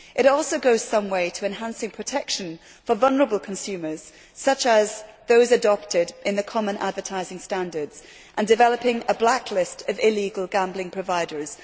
It also goes some way towards enhancing protection for vulnerable consumers, such as those adopted in the common advertising standards, and developing a blacklist of illegal gambling providers.